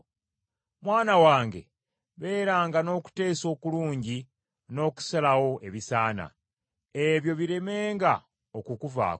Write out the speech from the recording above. Mwana wange, beeranga n’okuteesa okulungi n’okusalawo ebisaana, ebyo biremenga okukuvaako,